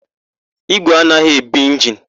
Ígwè anaghị ebu injinu.